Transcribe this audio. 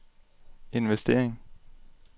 investering